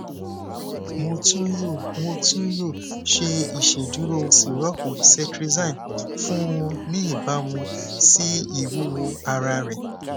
mo tun yoo mo tun yoo ṣe iṣeduro sirọpu cetrizine fun u ni ibamu si iwuwo ara rẹ